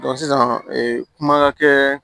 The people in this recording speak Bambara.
sisan kuma ka kɛ